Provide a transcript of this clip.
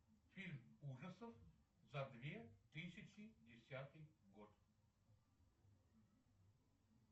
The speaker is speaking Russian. фильм ужасов за две тысячи десятый год